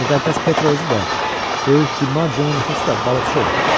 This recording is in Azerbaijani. Müqəddəs Petro özü də, böyük Di Maccionun atası da balıqçı olub.